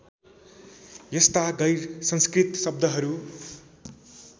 यस्ता गैरसंस्कृत शब्दहरू